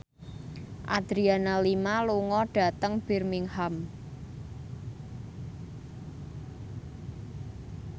Adriana Lima lunga dhateng Birmingham